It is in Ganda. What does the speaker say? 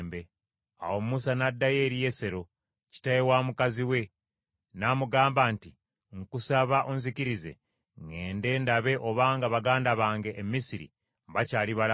Awo Mukama n’ayogera ne Musa e Midiyaani nti, “Genda, oddeyo e Misiri kubanga abantu bonna abaali baagala okukutta, baafa.”